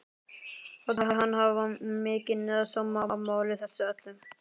Þótti hann hafa mikinn sóma af máli þessu öllu.